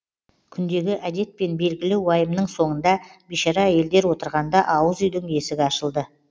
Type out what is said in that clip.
күндегі әдетпен белгілі уайымның соңында бишара әйелдер отырғанда ауыз үйдің есігі ашылды